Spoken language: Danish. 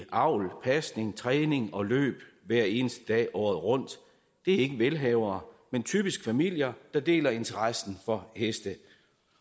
avl pasning træning og løb hver eneste dag året rundt det er ikke velhavere men typisk familier der deler interessen for heste